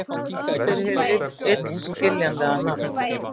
Hvað stendur hið illskiljanlega nafn